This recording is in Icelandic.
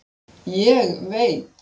Ég veit!